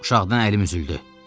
Uşaqdan əlim üzüldü.